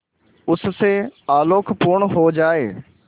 उससे आलोकपूर्ण हो जाए